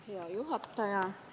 Hea juhataja!